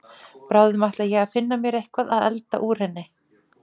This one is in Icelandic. Bráðum ætla ég að finna mér eitthvað að elda úr henni.